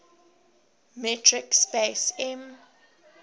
metric space m